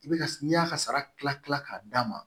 I bɛ ka n'i y'a ka sara kila kila k'a d'a ma